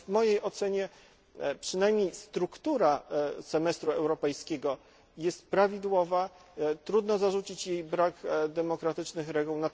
W mojej ocenie więc przynajmniej struktura semestru europejskiego jest prawidłowa, trudno zarzucić jej brak demokratycznych reguł.